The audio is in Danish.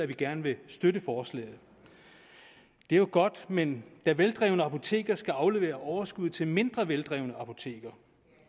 vi gerne vil støtte forslaget det er jo godt men da veldrevne apoteker skal aflevere overskuddet til mindre veldrevne apoteker